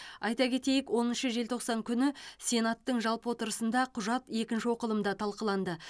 айта кетейік оныншы желтоқсан күні сенаттың жалпы отырысында құжат екінші оқылымда талқыланды